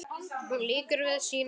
Hún lýkur við sínar sögur.